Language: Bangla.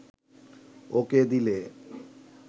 ওকে দিলে